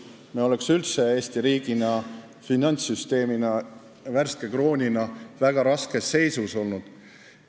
Me oleks üldse Eesti riigina, finantssüsteemina, oma värske krooniga väga raskes seisus olnud.